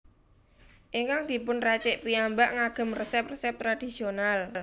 Ingkang dipun racik piyambak ngagem resep resep tradisional